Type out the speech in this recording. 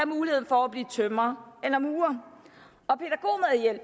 mulighed for at blive tømrer eller murer